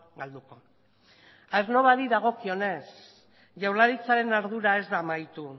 galduko aernnovari dagokionez jaurlaritzaren ardura ez da amaitu